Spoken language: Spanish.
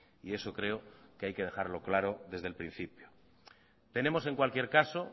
y eso creo que hay que dejarlo claro desde el principio tenemos en cualquier caso